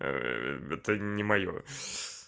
это не моё